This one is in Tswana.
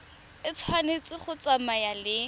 e tshwanetse go tsamaya le